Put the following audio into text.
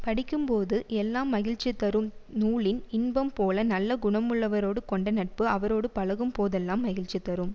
படிக்கும்போது எல்லாம் மகிழ்ச்சி தரும் நூலின் இன்பம் போல நல்ல குணமுள்ளவரோடு கொண்ட நட்பு அவரோடு பழகும் போதெல்லாம் மகிழ்ச்சி தரும்